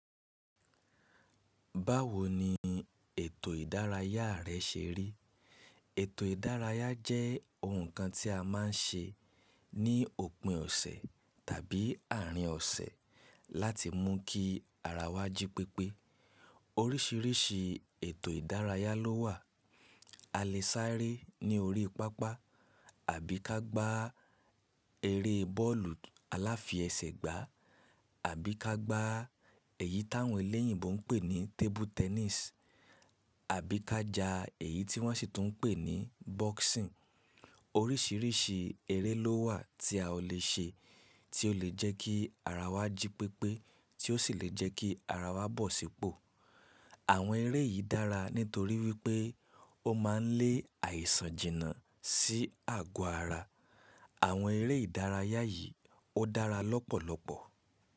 Báwo ni ètò ìdárayá rẹ́ ṣe rí? Ètò ìdárayá jẹ́ ohun kan tí a má n ṣe ní òpin ọ̀sẹ̀ tàbí àárín ọ̀sẹ̀ láti mú kí ara wa jí pépé. Orísìírísìí ètò ìdárayá ló wà. A lè sáré ní orí pápá àbí ka gba eré bọ́ọ̀lù aláfẹsẹ̀gbá àbí ka gba èyí táwọn eléyìíbo n pè ní table tennis àbí ka jà èyí tí wọ́n ṣì tún n pè ní boxing. Orísìírísìí eré ló wà tí a lè ṣe tí ó lè jẹ́ kí ara wa jí pépé tí ó sì lè jẹ́ kí ara wa bọ̀ sípò. Àwọn eré yìí dára nítorí wípé ó ma n lé àìsàn jìnnà sí àgọ́ ara. Àwọn eré ìdárayá yìí ó dára lọ́pọ̀lọpọ̀.